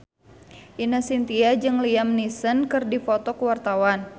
Ine Shintya jeung Liam Neeson keur dipoto ku wartawan